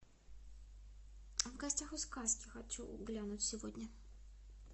в гостях у сказки хочу глянуть сегодня